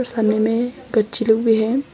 सामने मे गच्ची लोग भी है।